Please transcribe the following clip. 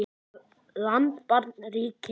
land barn ríki